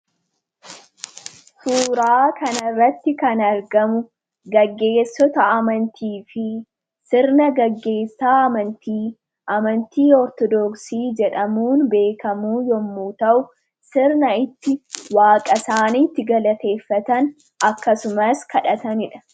Suuraa kanarratti kan argamu gaggeessota amantii fi sirna gaggeessaa amantii Ortoodooksii jedhamuun beekamu yommuu ta'u, sirna ittiin waaqa isaanii galaateeffatan akkasumas kadhatanidha.